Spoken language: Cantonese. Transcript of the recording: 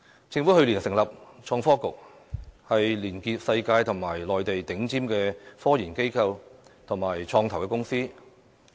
政府去年成立創新及科技局，連結世界及內地頂尖的科研機構和創投公司。